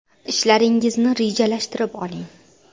Ishlaringizni rejalashtirib oling!